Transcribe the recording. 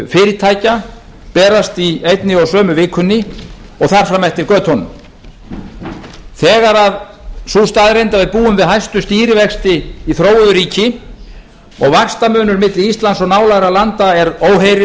fyrirtækja berast í einni og sömu vikunni og þar fram eftir götunum þegar sú staðreynd að við búum við hæstu stýrivexti í þróuðu ríki og vaxtamunur milli íslands og nálægra landa er óheyrilegur